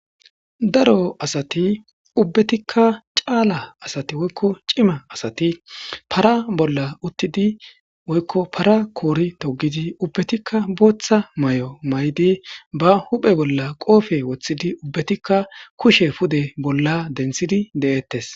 daro asati ubbatikka caala asati woykko cima asati para bolla uttidi woykko para koori togidi ubbatikka booththa mayo mayidi ba huphe bolla qoofe woththidi ubbatikka kushe pude bolla denthidi de'ettes.